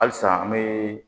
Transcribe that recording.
Halisa an be